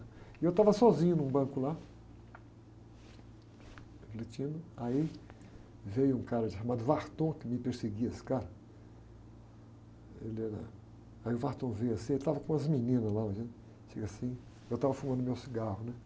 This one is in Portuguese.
E eu estava sozinho num banco lá, refletindo, aí veio um cara chamado, que me perseguia, esse cara, ele era... Aí o veio assim, ele estava com umas meninas lá olhando, chegou assim, e eu estava fumando meu cigarro, né?